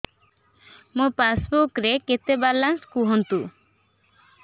ମୋ ପାସବୁକ୍ ରେ କେତେ ବାଲାନ୍ସ କୁହନ୍ତୁ